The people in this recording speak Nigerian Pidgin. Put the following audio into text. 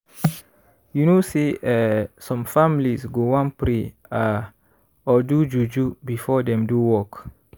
you know say eeh some families go wan pray ah or do juju before dem do work.